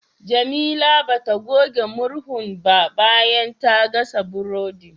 Jamila bata goge murhun ba bayan ta gasa burodi.